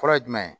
Fɔlɔ ye jumɛn ye